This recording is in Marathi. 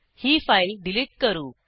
ही फाईल डिलीट करू